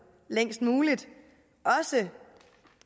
længst muligt også